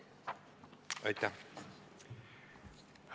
Aitäh!